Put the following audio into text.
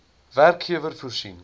werkgewer voorsien